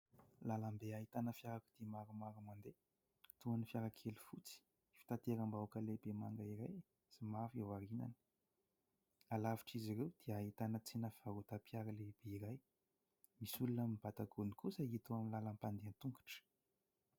Lalam-be ahitana fiarakodia maromaro mandeha toy ny fiarakely fotsy, fitateram-bahoaka lehibe manga iray somary aoriany. Lavitr'izy ireo dia ahitana tsena fivarotam-piara lehibe iray, misy olona mibata gony kosa eto amin'ny lalan'ny mpandeha an-tongotra.